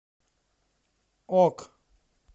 ок